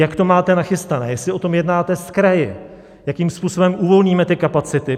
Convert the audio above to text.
Jak to máte nachystané, jestli o tom jednáte s kraji, jakým způsobem uvolníme ty kapacity.